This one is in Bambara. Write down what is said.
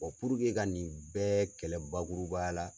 Bɔn puruke ka nin bɛɛ kɛlɛ bakurubaya la